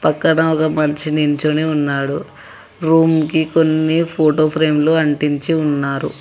ఇక్కడ ఒక మంచి నిల్చొని ఉన్నాడు రూమ్ కి కొన్ని ఫోటో ఫ్రేమ్ లు అంటించి ఉన్నారు.